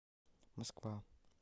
москва